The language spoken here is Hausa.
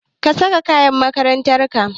Saka kayan makarantar ka!